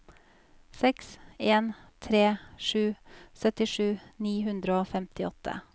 seks en tre sju syttisju ni hundre og femtiåtte